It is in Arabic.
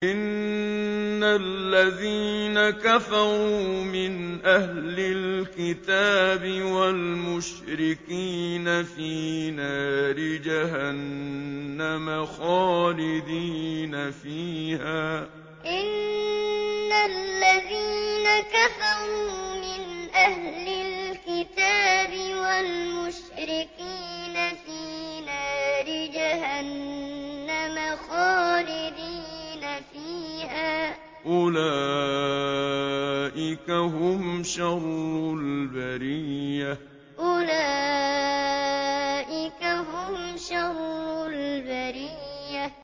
إِنَّ الَّذِينَ كَفَرُوا مِنْ أَهْلِ الْكِتَابِ وَالْمُشْرِكِينَ فِي نَارِ جَهَنَّمَ خَالِدِينَ فِيهَا ۚ أُولَٰئِكَ هُمْ شَرُّ الْبَرِيَّةِ إِنَّ الَّذِينَ كَفَرُوا مِنْ أَهْلِ الْكِتَابِ وَالْمُشْرِكِينَ فِي نَارِ جَهَنَّمَ خَالِدِينَ فِيهَا ۚ أُولَٰئِكَ هُمْ شَرُّ الْبَرِيَّةِ